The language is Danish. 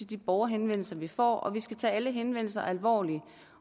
de borgerhenvendelser vi får vi skal tage alle henvendelser alvorligt